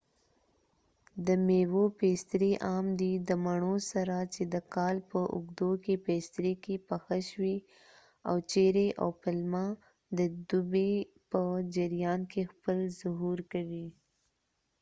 د میوو پیستري عام دي د مڼو سره چې د کال په اوږدو کې پیستري کې پخه شوي او چیري او پلمه د دوبي په جریان کې خپل ظهور کوي